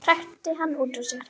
hrækti hann út úr sér.